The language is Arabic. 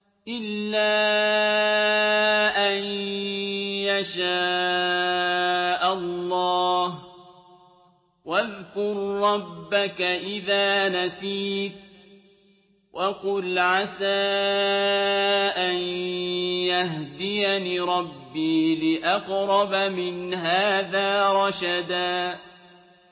إِلَّا أَن يَشَاءَ اللَّهُ ۚ وَاذْكُر رَّبَّكَ إِذَا نَسِيتَ وَقُلْ عَسَىٰ أَن يَهْدِيَنِ رَبِّي لِأَقْرَبَ مِنْ هَٰذَا رَشَدًا